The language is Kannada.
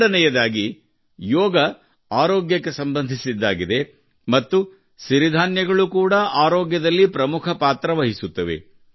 ಎರಡನೆಯದಾಗಿ ಯೋಗವು ಆರೋಗ್ಯಕ್ಕೆ ಸಂಬಂಧಿಸಿದ್ದಾಗಿದೆ ಮತ್ತು ಸಿರಿಧಾನ್ಯಗಳು ಕೂಡ ಆರೋಗ್ಯದಲ್ಲಿ ಪ್ರಮುಖ ಪಾತ್ರ ವಹಿಸುತ್ತವೆ